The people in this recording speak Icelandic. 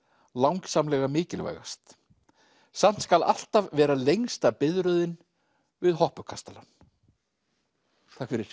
langsamlega mikilvægast samt skal alltaf vera lengsta biðröðin við hoppukastalann takk fyrir